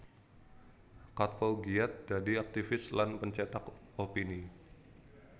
Katppo giat dadi aktivis lan pencetak opini